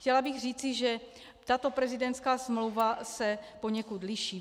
Chtěla bych říci, že tato prezidentská smlouva se poněkud liší.